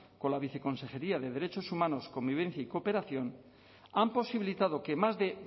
con la viceconsejería de derechos humanos convivencia y cooperación han posibilitado que más de